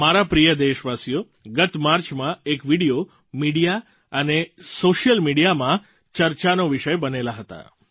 મારા પ્રિય દેશવાસીઓ ગત માર્ચમાં એક વીડિયો મિડિયા અને સૉશિયલ મિડિયામાં ચર્ચાનો વિષય બનેલા હતા